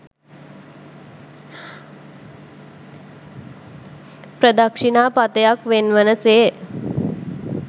ප්‍රදක්ෂිණා පථයක් වෙන්වන සේ